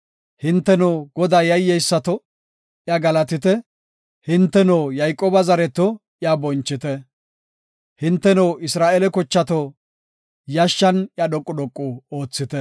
Hinteno, Godaa yayyesato, iya galatite; hinteno, Yayqooba zareto, iya bonchite. Hinteno, Isra7eele kochato, yashshan iya dhoqu dhoqu oothite.